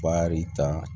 Wari ta